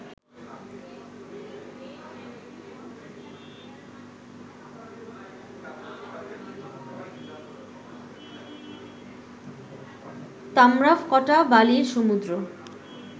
তাম্রাভ কটা বালির সমুদ্র